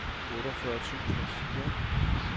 otteogfyrre tusind og fire